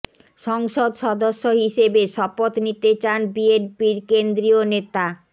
সংসদ সদস্য হিসেবে শপথ নিতে চান বিএনপির কেন্দ্রীয় নেতা